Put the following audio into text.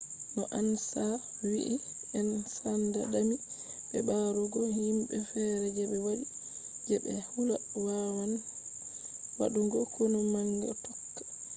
no ansa wi'i en sanda dami be ɓarugo himɓe feere je be waɗi je be hula wawan wadugo konu manga tokka